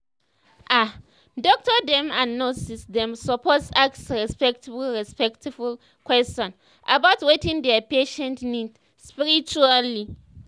ah doctor dem and nurse dem supose ask respectful respectful question about wetin their patients need spiritually